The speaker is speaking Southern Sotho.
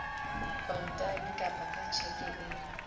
kontane kapa ka tjheke e